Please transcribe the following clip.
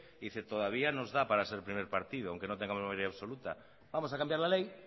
y dice todavía nos da para ser primer partido aunque no tengamos mayoría absoluta vamos a cambiar la ley